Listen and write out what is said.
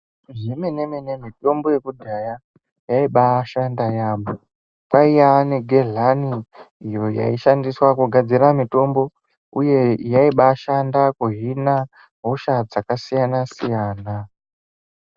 Zvemenemene mitombo yekudhaya yaibaashanda yaamho. Kwaiya negedhlani iyo yaishandiswa kugadzira mitombo, uye yaibaashaanda kuhina hosha dzakasiyana-siyana.